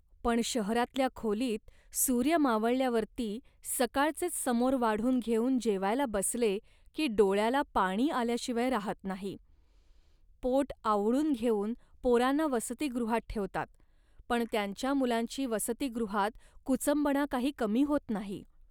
पण शहरातल्या खोलीत सूर्य मावळल्यावरती सकाळचेच समोर वाढून घेऊना जेवायले बसले, की डोळ्याला पाणी आल्याशिवाय राहत नाही. पोट आवळून घेऊन पोरांना वसतिगृहात ठेवतात, पण त्यांच्या मुलांची वसतीगृहात कुचंबणा काही कमी होत नाही